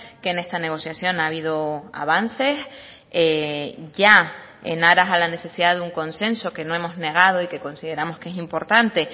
que en esta negociación ha habido avances ya en aras a la necesidad de un consenso que no hemos negado y que consideramos que es importante